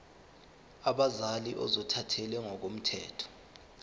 abazali ozothathele ngokomthetho